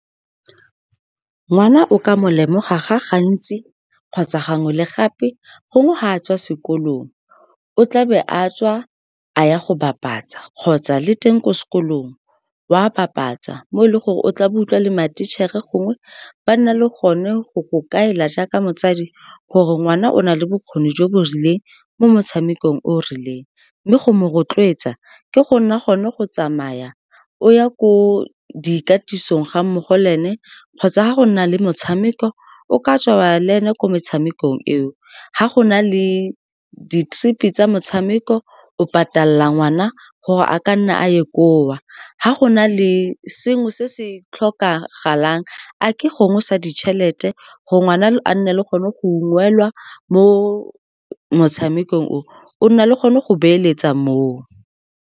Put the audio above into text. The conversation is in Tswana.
Ngwana o ka mo lemoga ga gantsi, kgotsa gangwe le gape gongwe ga a tswa sekolong, o tla be a tswa a ya go bapatsa, kgotsa le teng ko sekolong wa bapatsa. Mo e leng gore o tla bo utlwa le ma-teacher-e, gongwe ba nna le gone go go kaela jaaka motsadi, gore ngwana o na le bokgoni jo bo rileng mo motshamekong o o rileng. Mme go mo rotloetsa ke go na gone go tsamaya, o ya ko dikatisong ga mmogo le ene, kgotsa ga go nna le motshameko, o ka tswa le ene ko motshamekong eo. Ga go na le di-trip-e tsa motshameko, o patala ngwana gore a ka nna a ye koo. Ga go na le sengwe se se tlhokagalang, a ke gongwe sa ditšhelete, gore ngwana a nne le gone go ungwelwa mo motshamekong o, o nna le gone go beeletsa moo.